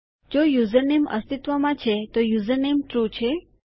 જો યુઝરનેમ અસ્તિત્વમાં છે તો યુઝરનેમ ટ્રૂ છે